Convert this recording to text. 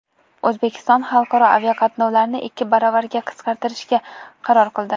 O‘zbekiston xalqaro aviaqatnovlarni ikki baravarga qisqartirishga qaror qildi.